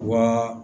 Wa